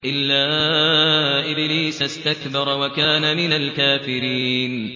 إِلَّا إِبْلِيسَ اسْتَكْبَرَ وَكَانَ مِنَ الْكَافِرِينَ